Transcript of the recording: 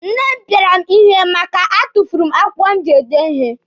Nne m pịara m ihe maka a tufuru m akwụkwọ m ji ede ihe.